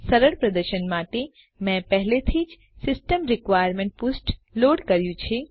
સરળ પ્રદર્શન માટે મેં પહેલેથી જ સિસ્ટમ રિક્વાયરમેન્ટ્સ પૃષ્ઠ લોડ કર્યું છે